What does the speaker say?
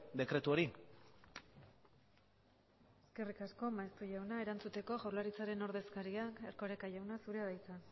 dekretu hori eskerrik asko maeztu jauna erantzuteko jaurlaritzaren ordezkaria den erkoreka jauna zurea da hitza